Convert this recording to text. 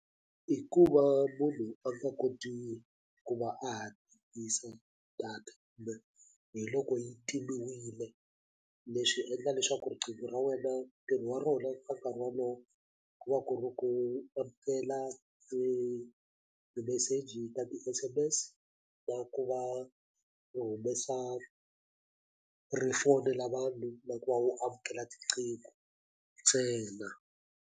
I ku va munhu a nga koti ku va a ha data kumbe hi loko yi timiwile leswi endla leswaku riqingho ra wena ntirho wa rona ka nkarhi walowo ku va ku ri ku amukela ti-message ka ti S_M_S na ku va u humesa ri fowunela na vanhu na ku va u amukela riqingho ntsena.